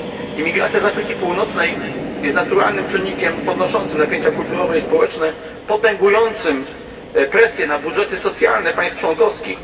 Imigracja z Afryki Północnej jest naturalnym czynnikiem podnoszącym napięcia kulturowe i społeczne, potęgującym presję na budżety socjalne państw członkowskich.